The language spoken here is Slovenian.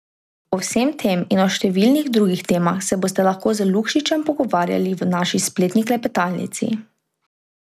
O vsem tem in o številnih drugih temah se boste lahko z Lukšičem pogovarjali v naši spletni klepetalnici.